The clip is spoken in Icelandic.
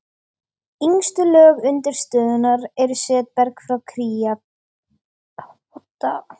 Yngstu lög undirstöðunnar eru setberg frá krítartímabilinu.